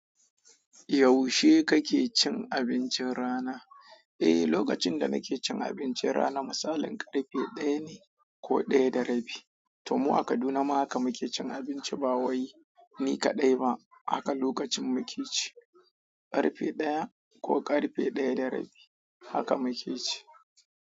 Yaushe kake cin abincin rana? Eh, lokacin da nake cin abincin rana misalin ƙarfe ɗaya ne ko ɗaya da rabi. To mu a Kaduna ma haka muke cin abinci ba wai, ni kaɗai ba. Akan lokacin muke ci ƙarfe ɗaya ko ƙarfe ɗaya da rabi, haka muke ci.